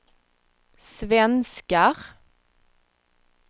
svenskar